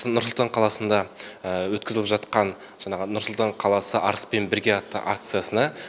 нұр сұлтан қаласында өткізіліп жатқан жаңағы нұр сұлтан қаласы арыспен бірге атты акциясына